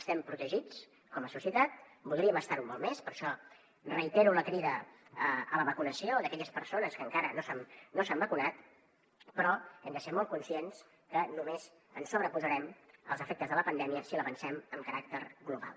estem protegits com a societat voldríem estar ho molt més per això reitero la crida a la vacunació d’aquelles persones que encara no s’han vacunat però hem de ser molt conscients que només ens sobreposarem als efectes de la pandèmia si la vencem amb caràcter global